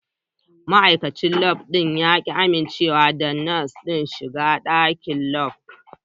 Ma'aikacin Lab ɗin ya ƙi amincewa da Nurse ɗin shiga Lab.